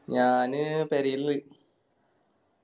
ഞാന് പെരേല്